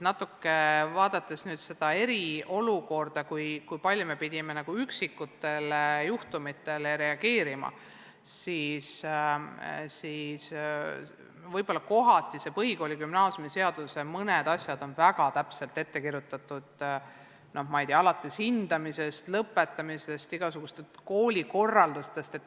Vaadates natuke seda eriolukorda, seda, kui palju me pidime üksikutele juhtumitele reageerima, siis võib-olla kohati on mõned asjad põhikooli- ja gümnaasiumiseaduses väga täpselt ette kirjutatud, alates hindamisest, kooli lõpetamisest, igasugusest koolikorraldusest.